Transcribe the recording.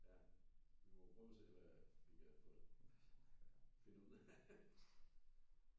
Ja vi må jo prøve og se hvad vi kan få finde ud af